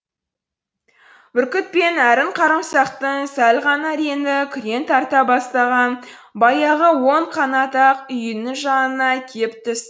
бүркіт пен әрін қарымсақтың сәл ғана реңі күрең тарта бастаған баяғы он қанат ақ үйінің жанына кеп түсті